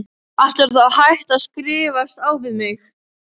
Ætlarðu þá að hætta að skrifast á við mig?